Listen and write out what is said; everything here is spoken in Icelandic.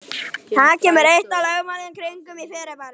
Það var eitt af lögmálunum kringum fyrirbærið.